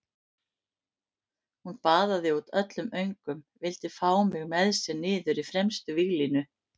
Hún baðaði út öllum öngum, vildi fá mig með sér niður í fremstu víglínu.